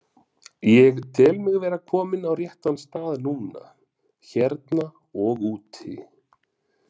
Ég tel mig vera kominn á rétta stað núna, hérna og úti.